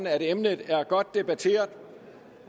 at emnet er godt debatteret